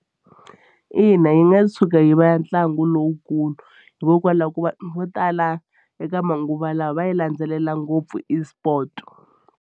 Ina yi nga tshuka yi va ya ntlangu lowukulu hikokwalaho ko vanhu vo tala eka manguva lawa va yi landzelela ngopfu esport.